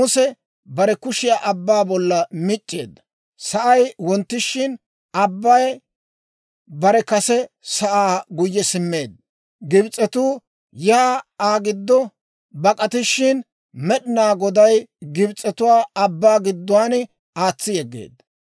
Muse bare kushiyaa abbaa bollan mic'c'eedda; sa'ay wonttishin, abbay bare kase sa'aa guyye simmeedda; Gibs'etuu yaa Aa giddo bak'atishin, Med'inaa Goday Gibs'etuwaa abbaa gidduwaan aatsi yeggeedda.